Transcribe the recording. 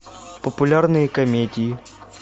популярные комедии